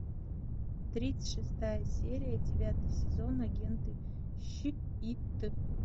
тридцать шестая серия девятый сезон агенты щит